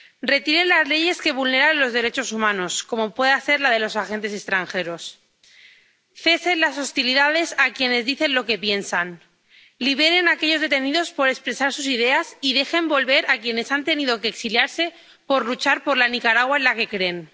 Retiren las leyes que vulneran los derechos humanos, como pueda ser la de los agentes extranjeros, cesen las hostilidades contra quienes dicen lo que piensan, liberen a aquellos detenidos por expresar sus ideas y dejen volver a quienes han tenido que exiliarse por luchar por la Nicaragua en la que creen.